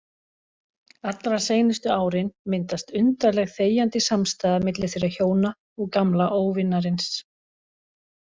Allra seinustu árin myndast undarleg þegjandi samstaða milli þeirra hjóna og gamla óvinarins.